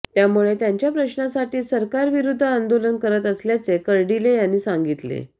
त्यामुळे त्यांच्या प्रश्नांसाठीच सरकारविरुद्ध आंदोलन करत असल्याचे कर्डीले यांनी सांगितले